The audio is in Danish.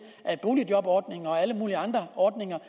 at boligjobordningen og alle mulige andre ordninger